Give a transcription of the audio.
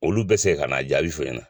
Olu bɛ segi ka n'a jaabi fɔ i ɲana.